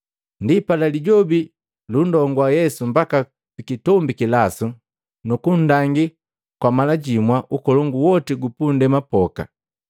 Ndipala, Lijobi lundongua Yesu mbaka pikitombi kilasu, nukundangi kwa mala jimwa ukolongu woti gupundema poka.